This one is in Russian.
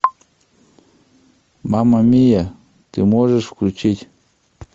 мама мия ты можешь включить